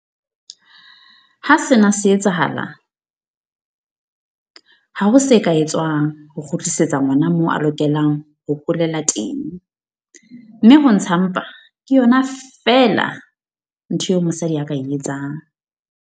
Ha sena se etsahala, ha ho se ka etswang ho kgutlisetsa ngwana moo a lokelang ho holela teng mme ho ntsha mpa ke yona feela ntho eo mosadi a ka e etsang.